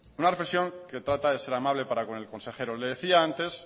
una reflexión que trata de ser amable para con el consejero le decía antes